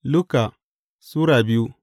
Luka Sura biyu